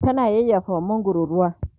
tana yayyafawa mangwaron ruwa